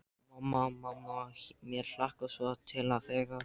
Mamma, mamma mér hlakkar svo til þegar.